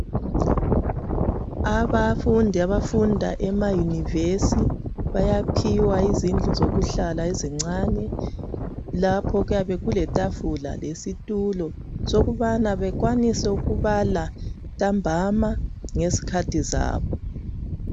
Abafundi abafunda emauniversity .Bayaphiwa izindlu zokuhlala ezincane lapho kuyabe kule tafula lesitulo sokubana bekwanise ukubala ntambama ngezikhathi zabo.